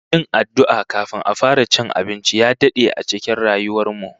Yin addu'a kafin a fara cin abinci ya dade a cikin rayuwar mu